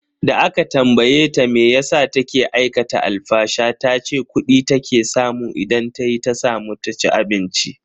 Da aka tambaye ta meyasa take aikata alfasha tace kudi take samu idan tayi ta samu ta ci abinci.